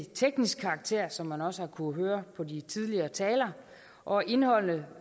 teknisk karakter som man også har kunnet høre på de tidligere talere og indholdet